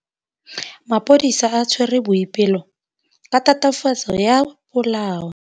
Maphodisa a tshwere Boipelo ka tatofatsô ya polaô.